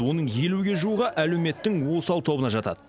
оның елуге жуығы әлеуметтің осал тобына жатады